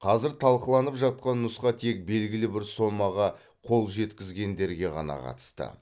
қазір талқыланып жатқан нұсқа тек белгілі бір сомаға қол жеткізгендерге ғана қатысты